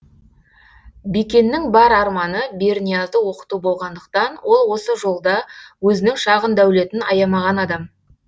бекеннің бар арманы берниязды оқыту болғандықтан ол осы жолда өзінің шағын дәулетін аямаған адам